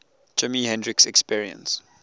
jimi hendrix experience